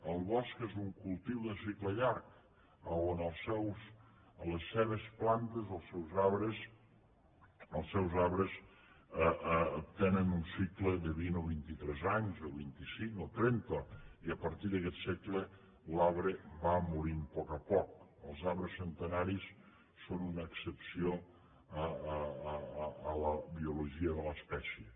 el bosc és un cultiu de cicle llarg a on les seves plantes els seus arbres tenen un cicle de vint o vint i tres anys o vint icinc o trenta i a partir d’aguest cicle l’arbre va morint a poc a poc els arbres centenaris són una excepció en la biologia de l’espècie